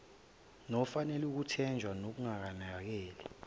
nofanele ukuthenjwa nokunakekela